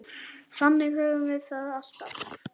Þannig höfum við það alltaf.